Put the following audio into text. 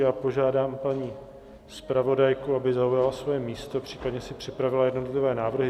Já požádám paní zpravodajku, aby zaujala svoje místo, případně si připravila jednotlivé návrhy.